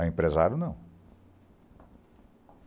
A empresário, não.